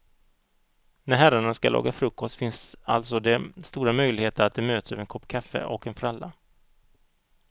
När herrarna ska laga frukost finns alltså det stora möjligheter att de möts över en kopp kaffe och en fralla.